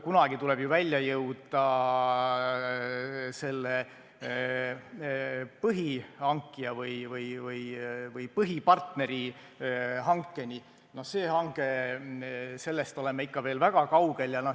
Kunagi tuleb ju välja jõuda selle põhihankija või põhipartneri hankeni, aga no sellest oleme ikka veel väga kaugel.